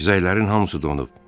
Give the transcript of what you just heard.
Xizəklərin hamısı donub.